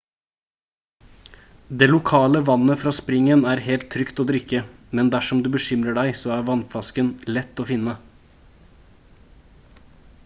det lokale vannet fra springen er helt trygt å drikke men dersom du bekymrer deg så er flaskevann lett å finne